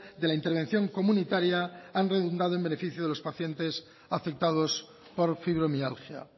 de la intervención comunitaria han redundado en beneficio de los pacientes afectados por fibromialgia